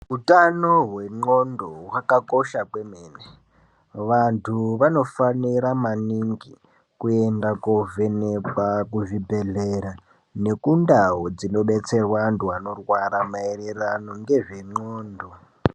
Hutano hwendxondo hwakakosha kwemene. Vantu vanofanira maningi kuenda kovhenekwa kuzvibhedhlera nekundau dzinobetserwa antu anorwara maererano ngezvendxondo.